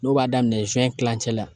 N'o b'a daminɛ kilancɛ la